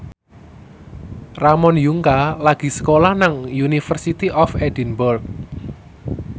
Ramon Yungka lagi sekolah nang University of Edinburgh